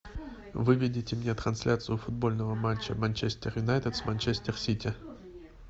выведите мне трансляцию футбольного матча манчестер юнайтед с манчестер сити